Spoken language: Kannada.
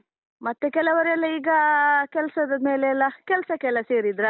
ಮತ್ತೆ ಕೆಲವರೆಲ್ಲ ಈಗ ಕೆಲ್ಸದ ಮೇಲೆ ಎಲ್ಲ, ಕೆಲ್ಸಕ್ಕೆಲ್ಲ ಸೇರಿದ್ರಲ್ಲಾ?